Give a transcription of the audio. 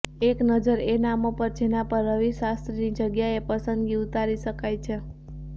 એક નજર એ નામો પર જેના પર રવિ શાસ્ત્રીની જગ્યાએ પસંદગી ઉતારી શકાય છે